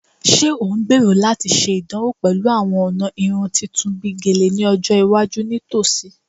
Ṣe o ngbero lati ṣe idanwo pẹlu awọn ọna irun tuntun bi Gele ni ọjọ iwaju nitosi?